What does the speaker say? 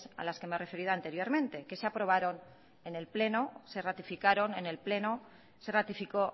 a las que me he referido anteriormente que se aprobaron en el pleno se ratificaron en el pleno se ratificó